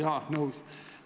Jaa, nõus!